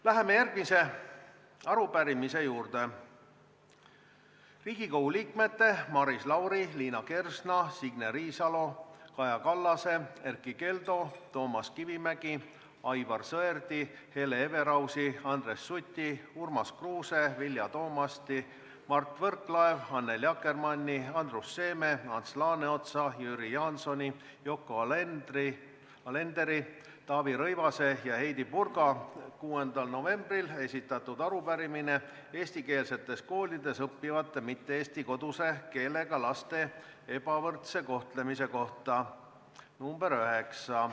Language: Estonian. Läheme järgmise arupärimise juurde: Riigikogu liikmete Maris Lauri, Liina Kersna, Signe Riisalo, Kaja Kallase, Erkki Keldo, Toomas Kivimägi, Aivar Sõerdi, Hele Everausi, Andres Suti, Urmas Kruuse, Vilja Toomasti, Mart Võrklaeva, Annely Akkermanni, Andrus Seeme, Ants Laaneotsa, Jüri Jaansoni, Yoko Alenderi, Taavi Rõivase ja Heidy Purga 6. novembril esitatud arupärimine eestikeelsetes koolides õppivate mitte-eesti koduse keelega laste ebavõrdse kohtlemise kohta .